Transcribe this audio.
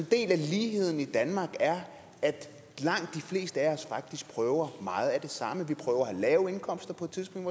del af ligheden i danmark er at langt de fleste af os faktisk prøver meget af det samme vi prøver at have lave indkomster på et tidspunkt